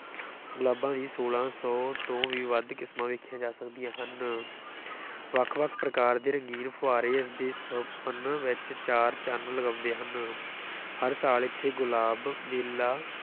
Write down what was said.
ਗੁਲਾਬਾਂ ਦੀ ਛੋਲਾਂ ਸੌ ਤੋਂ ਵੀ ਵੱਧ ਕਿਸਮਾਂ ਵੇਖੀਆਂ ਜਾ ਸਕਦੀਆਂ ਹਨ ਵੱਖ-ਵੱਖ ਪ੍ਰਕਾਰ ਦੇ ਰੰਗੀਨ ਫੁਆਰੇ ਇਸਦੇ ਸੁਹੱਪਣ ਵਿੱਚ ਚਾਰ ਚੰਨ ਲਗਾਉਂਦੇ ਹਨ ਹਰ ਸਾਲ ਇੱਥੇ ਗੁਲਾਬ ਮੇਲਾ